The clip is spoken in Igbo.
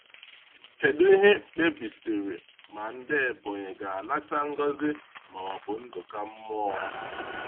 Kedu ihe kpebisiri ma ndị Ebonyi ga-anata ngọzi ma ọ bụ nkụda mmụọ?